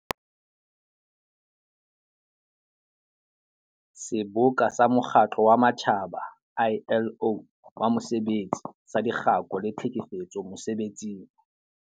Seboka sa Mokgatlo wa Matjhaba, ILO, wa Mosebetsi saDikgako le Tlhekefetso Mese-betsing.